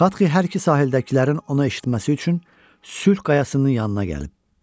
Xatxi hər iki sahildəkilərin ona eşitməsi üçün sülh qayasının yanına gəlib.